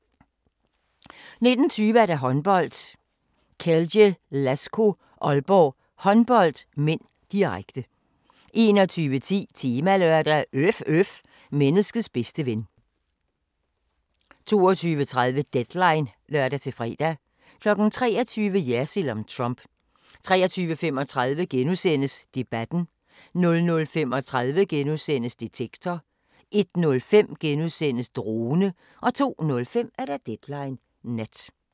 19:20: Håndbold: Celje Lasko-Aalborg Håndbold (m), direkte 21:10: Temalørdag: Øf øf – menneskets bedste ven 22:30: Deadline (lør-fre) 23:00: Jersild om Trump 23:35: Debatten * 00:35: Detektor * 01:05: Drone * 02:05: Deadline Nat